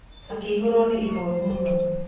Akĩihũrwo nĩ ihoru mũno.